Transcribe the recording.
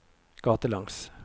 gatelangs